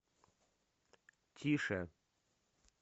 тише